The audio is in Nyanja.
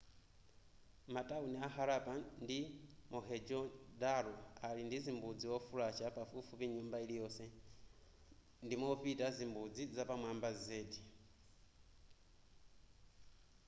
matauni a harappa ndi mohenjo-daro ali ndizimbudzi wofulasha pafupifupi nyumba iliyonse ndimopita zimbudzi zapamwamba zedi